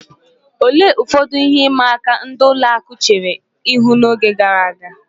Olee ụfọdụ ihe ịma aka ndị ụlọ akụ̀ chere ihu n'oge gara aga?